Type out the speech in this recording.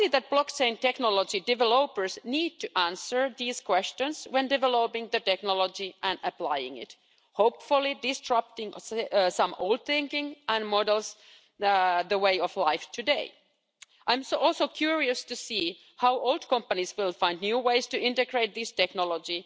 Blockchain technology developers need to answer these questions when developing the technology and applying it, hopefully destroying some old thinking and models of the way of life today. I'm also curious to see how old companies will find new ways to integrate this technology.